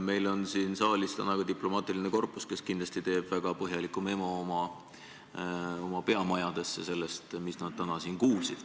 Meil on siin saalis täna ka diplomaatiline korpus, kes kindlasti teeb väga põhjaliku memo oma peamajadesse sellest, mis nad täna siin kuulsid.